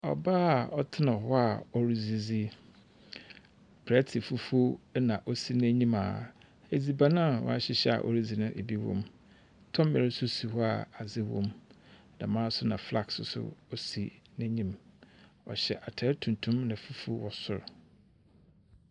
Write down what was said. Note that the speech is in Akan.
Ɔbaa a ɔtsena hɔ a ɔridzidzi. Prɛte fufuo na osi n'enyim a edziban a wɔahyehyɛ a woridzi no ebi wom. Tɔmmɛr nso si hɔ a adze wom. Dɛm ara nso na flask nso si n'enyim. Ɔhyɛ atar tuntum na fufuo wɔ sor.